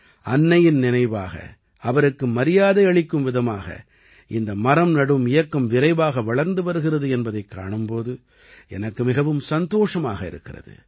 அன்னையின் நினைவாக அவருக்கு மரியாதை அளிக்கும் விதமாக இந்த மரம் நடும் இயக்கம் விரைவாக வளர்ந்து வருகிறது என்பதைக் காணும் போது எனக்கு மிகவும் சந்தோஷமாக இருக்கிறது